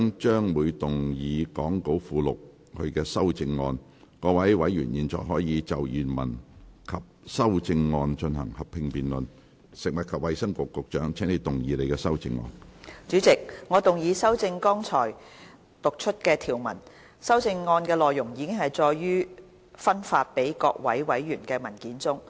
主席，我動議修正剛才讀出的條文。修正案的內容已載於發送給各位委員的文件中。